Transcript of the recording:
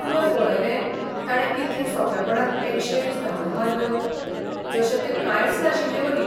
तुवें पळयलें ताणें कितले सोंपेपणान एकशे वीस धांवड्यो मारल्यो, जशें तें कांयच नाशिल्लेवरी.